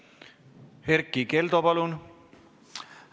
Erkki Keldo, palun!